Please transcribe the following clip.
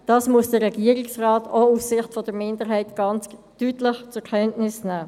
Dies muss der Regierungsrat aus der Sicht der Minderheit ganz klar zur Kenntnis nehmen.